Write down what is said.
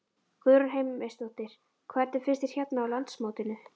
Guðrún Heimisdóttir: Hvernig finnst þér hérna á landsmótinu?